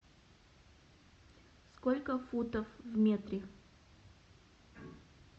сколько футов в метре